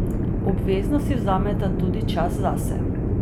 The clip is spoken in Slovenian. Obvezno si vzameta tudi čas zase.